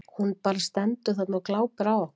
Hún bara stendur þarna og glápir á okkur.